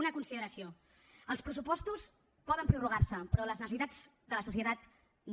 una consideració els pressupostos poden prorrogar se però les necessitats de la societat no